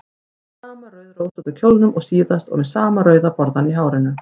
Í sama rauðrósótta kjólnum og síðast og með sama rauða borðann í hárinu.